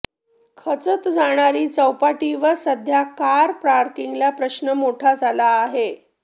खचत जाणारी चौपाटी व सध्या कार पार्किंगचा प्रश्न मोठा झाला आहे